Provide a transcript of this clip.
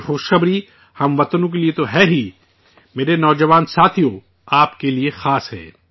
یہ خوش خبری ملک کے شہریوں کے لیے تو ہے ہی، میرے نوجوان ساتھیو آپ کے لیے خاص ہے